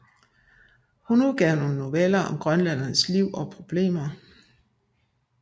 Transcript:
Hun udgav nogle noveller om grønlænderes liv og problemer